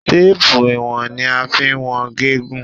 Téèpù iwọn ni a fín wón gígùn.